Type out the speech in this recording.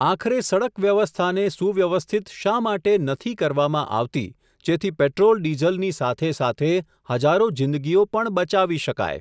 આખરે સડક વ્યવસ્થાને સુવ્યવસ્થિત શા માટે નથી કરવામાં આવતી, જેથી પેટ્રોલ ડીઝલની સાથે સાથે, હજારો જિંદગીઓ પણ બચાવી શકાય.